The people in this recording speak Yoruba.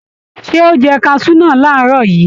Ṣé o jẹ kaṣú náà làárọ̀ yìí?